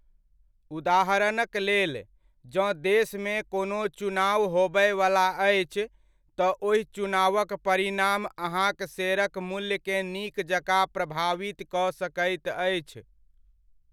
उदाहरणक लेल, जँ देशमे कोनो चुनाव होबयवला अछि, तँ ओहि चुनावक परिणाम अहाँक शेयरक मूल्यकेँ नीक जकाँ प्रभावित कऽ सकैत अछि।